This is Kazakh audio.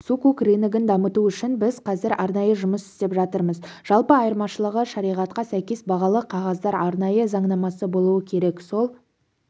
сукук рыногын дамыту үшін біз қазір арнайы жұмыс істеп жатырмыз жалпы айырмашылығы шариғатқа сәйкес бағалы қағаздар арнайы заңнамасы болуы керек сол